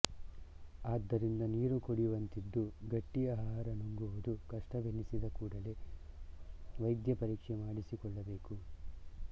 ಆದ್ದರಿಂದ ನೀರು ಕುಡಿವಂತಿದ್ದು ಗಟ್ಟಿ ಆಹಾರ ನುಂಗುವುದು ಕಷ್ಟವೆನಿಸಿದ ಕೂಡಲೇ ವೈದ್ಯಪರೀಕ್ಷೆ ಮಾಡಿಸಿಕೊಳ್ಳಬೇಕು